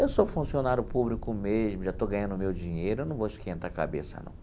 Eu sou funcionário público mesmo, já estou ganhando o meu dinheiro, eu não vou esquentar a cabeça, não.